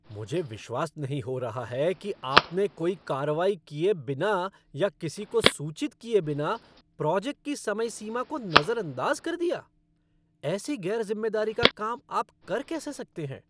मुझे विश्वास नहीं हो रहा है कि आपने कोई कार्रवाई किए बिना या किसी को सूचित किए बिना प्रोजेक्ट की समय सीमा को नज़रअंदाज़ कर दिया। ऐसी गैर जिम्मेदारी का काम आप कर कैसे सकते हैं?